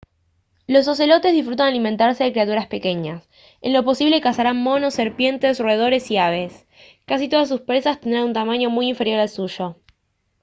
los ocelotes disfrutan alimentarse de criaturas pequeñas en lo posible cazarán monos serpientes roedores y aves casi todas sus presas tendrán un tamaño muy inferior al suyo